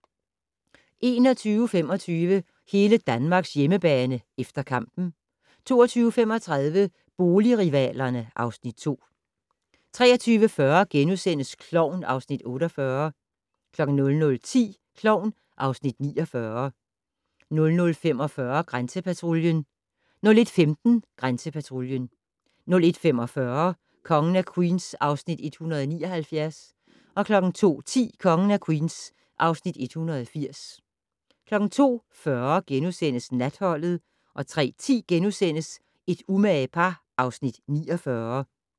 21:25: Hele Danmarks hjemmebane - efter kampen 22:35: Boligrivalerne (Afs. 2) 23:40: Klovn (Afs. 48)* 00:10: Klovn (Afs. 49) 00:45: Grænsepatruljen 01:15: Grænsepatruljen 01:45: Kongen af Queens (Afs. 179) 02:10: Kongen af Queens (Afs. 180) 02:40: Natholdet * 03:10: Et umage par (Afs. 49)*